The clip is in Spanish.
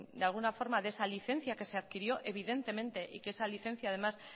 de alguna forma de esa licencia que se adquirió evidentemente y que esa licencia además